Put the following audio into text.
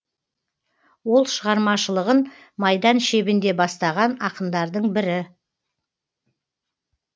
ол шығармашылығын майдан шебінде бастаған ақындардың бірі